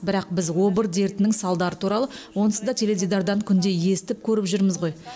бірақ біз обыр дертінің салдары туралы онсыз да теледидардан күнде естіп көріп жүрміз ғой